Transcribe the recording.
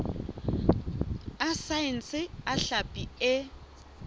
a saense a hlapi e